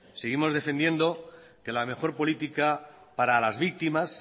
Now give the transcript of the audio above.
seguimos defendiendo que la mejor política para las víctimas